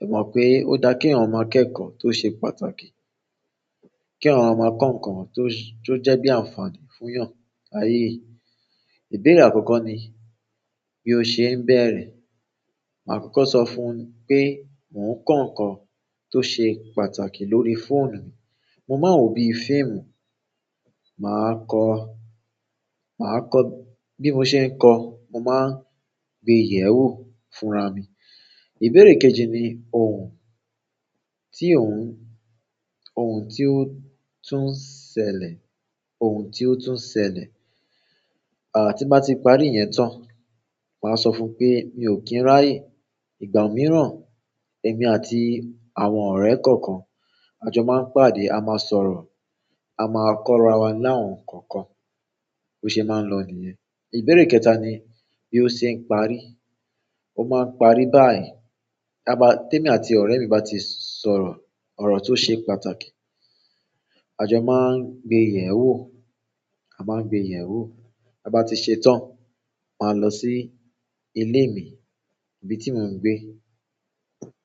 Ẹ mọ̀ pé ó dá kí eyan maa kẹ́kọ̀ọ́ tó ṣe pàtàkì, kí eyan maa maa kọ nǹkan tó, tó jẹ́ bí àǹfààní fún èèyàn láyé. Ìbéra akọkọ ni bí o ṣe ń bẹ̀rẹ̀. Màá kọ́kọ́ sọ fún pé mò ń kọ nǹkan tó ṣe pàtàkì lórí fóònù mi. Mo maa n wo bíi fíìmù. Màá kọ, màá kọ-- bí mo ṣe ń kọ, mo máa ń gbe yẹ̀ewo fúnra mi. Ìbéèrè kejì ni ohun tí òun, ohun tí ó tún ṣẹlẹ̀, ohun tí ó tún ṣẹlẹ̀. Ti n bá ti parí iyẹn tán, màá sọ fún pé mi ò kí ń ráyè. Ìgbà mìíràn, èmi àti àwọn ọ̀rẹ́ kọ̀ọ̀kan, àjọ máa ń pàdé, a máa sọ̀rọ̀, a máa kọ́ra wa ní àwọn nǹkan kan. Bo ṣe é máa ń lọ nìyẹn. Ìbéèrè kẹta ni bí ó ṣe ń parí. Ó máa ń parí báyìí. Tí èmi àti ọ̀rẹ́ mi bá ti sọ̀rọ̀ ọ̀rọ̀ tó ṣe pàtàkì, àjọ máa ń gbe yẹ̀wò, a máa ń gbe yẹ̀wò. Ta ba ti se tan maa lo si ile mi, ni ibi ti mo n gbe.